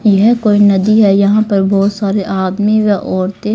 ये है कोई नदी है यहां पर बहुत सारे आदमी व औरते--